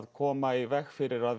koma í veg fyrir að